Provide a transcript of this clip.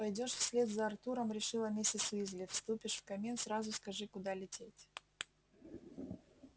пойдёшь вслед за артуром решила миссис уизли вступишь в камин сразу скажи куда лететь